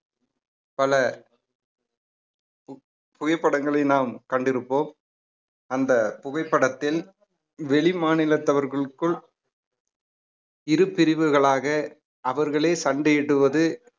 பல புகைப்படங்களை நாம் கண்டிருப்போம் அந்த புகைப்படத்தில் வெளிமாநிலத்தவர்களுக்குள் இரு பிரிவுகளாக அவர்களே சண்டையிடுவது